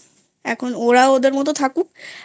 এখন ওরা ওদের মতো থাকুক